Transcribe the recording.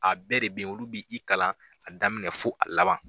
A bɛɛ de bɛ yen olu b'i kalan a daminɛ fo a laban